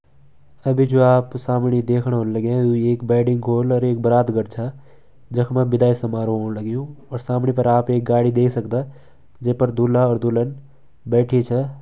अभी जो आप सामने दखेण लाग्यां ये एक बारात घर छ जख मा विदाई समारोह हुण लग्युं सामने बरते गाड़ी देख सकदा जे पर दूल्हा दुल्हन बैठी छ |